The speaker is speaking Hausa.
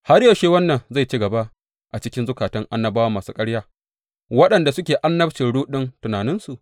Har yaushe wannan zai ci gaba a cikin zukata annabawa masu ƙarya, waɗanda suke annabcin ruɗun tunaninsu?